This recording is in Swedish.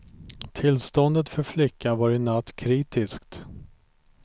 Tillståndet för flickan var i natt kritiskt.